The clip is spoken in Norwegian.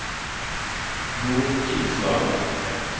Nordkisa